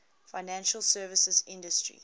financial services industry